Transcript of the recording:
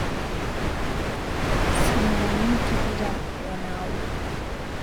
Slimani,29.